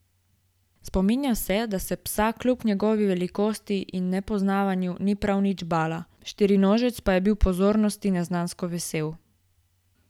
Spominja se, da se psa kljub njegovi velikosti in nepoznavanju ni prav nič bala, štirinožec pa je bil pozornosti neznansko vesel.